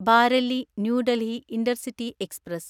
Bareilly new Delhi intercity express